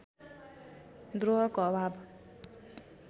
द्रोहको अभाव